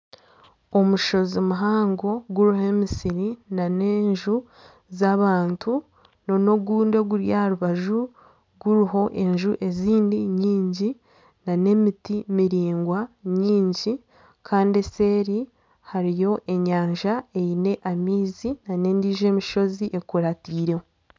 Omushozi muhango guriho emisiri nana enju z'abantu nana ogundi oguri aha rubaju guriho enju ezindi nyingi nana emiti miraingwa nyingi Kandi eseeri hariyo enyanja eine amaizi nana endiijo emishozi ekurataireho.